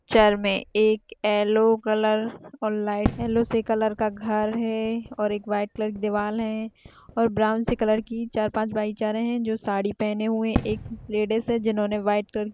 picture मे एक yellow colour और लाइट येल्लो से कलर का घर है और एक व्हाइट कलर की दीवाल है और ब्राउन सी कलर की चार पाँच बाई जा रहे है जो साड़ी पहने हुए एक लेडिस है जिन्होंने व्हाइट कलर --